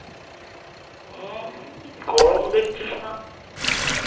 গরম দেখছিস না?